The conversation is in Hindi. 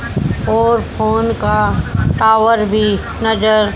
और फोन का टॉवर भी नजर--